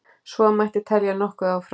Svo mætti telja nokkuð áfram.